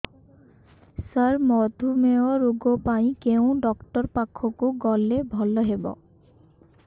ସାର ମଧୁମେହ ରୋଗ ପାଇଁ କେଉଁ ଡକ୍ଟର ପାଖକୁ ଗଲେ ଭଲ ହେବ